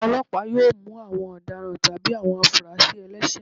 Ọlọpa yóò mú awọn ọdáràn tabí awọn afúrásí ẹlẹṣẹ